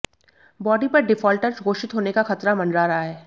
बाकी पर डिफॉल्टर घोषित होने का खतरा मंडरा रहा है